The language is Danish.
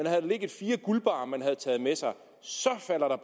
havde ligget fire guldbarrer man havde taget med sig så falder